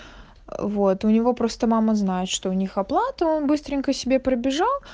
вот у него просто мама знает что у них оплата он быстренько себе пробежал